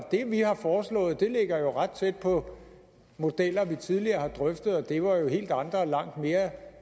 det vi har foreslået ligger ret tæt på modeller vi tidligere har drøftet og det var jo helt andre og langt mere